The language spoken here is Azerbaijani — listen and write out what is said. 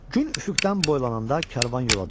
Gün üfüqdən boylananda karvan yola düşdü.